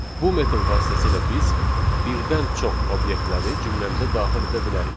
Bu metod vasitəsilə biz birdən çox obyektləri cümləmizə daxil edə bilərik.